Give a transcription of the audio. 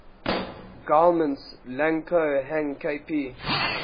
guillemets lang ko hang kp